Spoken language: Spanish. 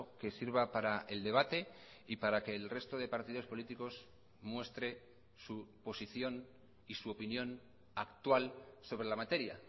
que sirva para el debate y para que el resto de partidos políticos muestre su posición y su opinión actual sobre la materia